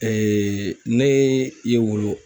ne ye wulu